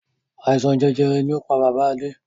Àìsàn jẹjẹrẹ ni ó pá bàbá Adé.